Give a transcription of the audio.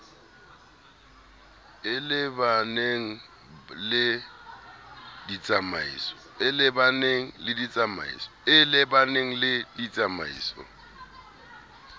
e le baneng le ditsamaiso